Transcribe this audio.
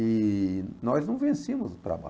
E nós não vencíamos o